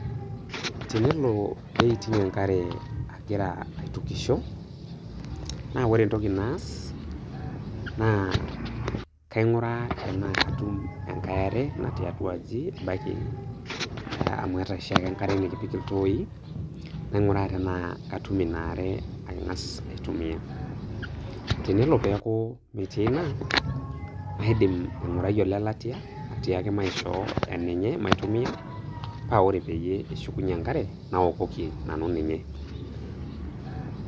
tenelo pee eiting' enkare agira aitukisho, naa ore entoki naas, naa kainguraa tenaa katum enkae are natii atu aji, amu aata oshi ake enkare napik iltooi, nainguraa tenaa katum Ina are ang'as aitumia. tenelo pee neeku metii ina, kaidim aingurai atiaki olelatia ,atiaki naishoo enenye maitumia paa ore peyie eshukunye enkare naokoki nanu ninye.